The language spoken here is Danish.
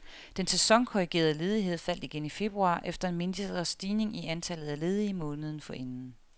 Den sæsonkorrigerede ledighed faldt igen i februar efter en mindre stigning i antallet af ledige måneden forinden.